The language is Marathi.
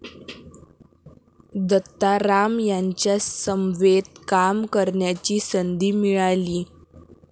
दत्ताराम यांच्या समवेत काम करण्याची संधी मिळाली.